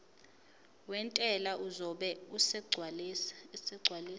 wentela uzobe esegcwalisa